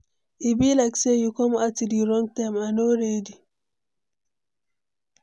E be like say you come at the wrong time, I no ready.